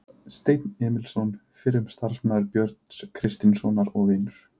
Steinn Emilsson, fyrrum samstarfsmaður Björns Kristjánssonar og vinur